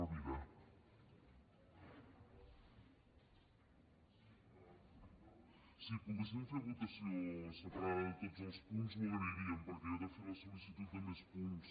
si poguéssim fer votació separada de tots els punts ho agrairíem perquè jo he fer la sol·licitud de més punts